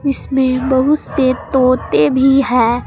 इसमें बहुत से तोते भी है।